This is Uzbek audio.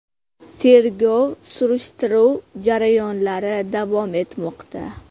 Tergov-surishtiruv jarayonlari davom etmoqda.